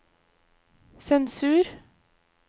sensur